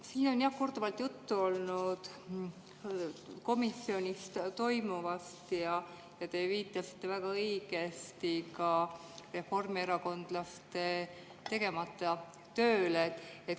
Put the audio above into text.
Siin on, jah, korduvalt olnud juttu komisjonis toimuvast ja te viitasite väga õigesti ka reformierakondlaste tegemata tööle.